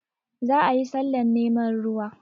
Za a yi sallah neman ruwa